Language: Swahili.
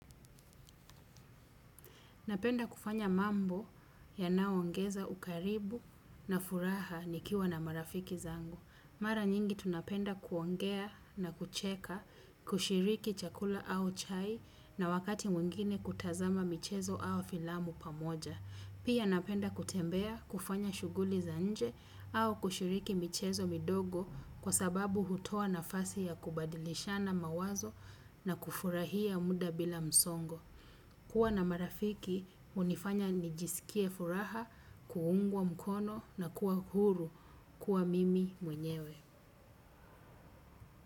Napenda kufanya mambo yanayo ongeza ukaribu na furaha nikiwa na marafiki zangu. Mara nyingi tunapenda kuongea na kucheka, kushiriki chakula au chai na wakati mwingine kutazama michezo au filamu pamoja. Pia napenda kutembea, kufanya shughuli za nje au kushiriki michezo midogo kwa sababu hutoa nafasi ya kubadilishana mawazo na kufurahia mda bila msongo. Kuwa na marafiki hunifanya nijiskie furaha kuungwa mkono na kuwa huru mimi mwenyewe.